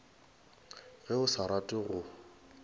ge o sa rate go